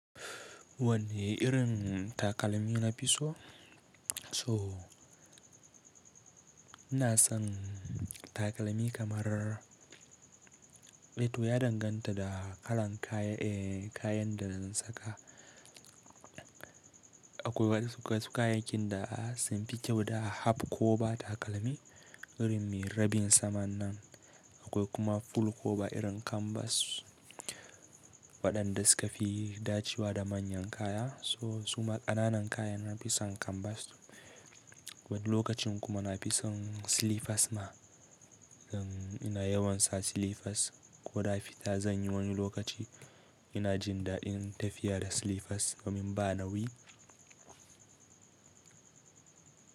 Wanne irin takalmi na fi so? So ina son takalmi kamar, to ya danganta da kalan kayan, eh kayan da zan saka. Akwai wasu kayayyakin da sun fi kyau da half cover takalmi irin me rabin saman nan. Akwai kuma full cover irin kanbas waɗanda suka fi dacewa da manyan kaya. So suma ƙananan kaya na fi son kanbas. Wani lokacin kuma na fi son silifas ma. Zan ina yawan sa silifas ko da fita zan yi wani lokaci ina jin daɗin tafiya da silifas domin ba nauyi.